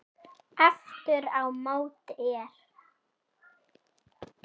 Aftur á móti er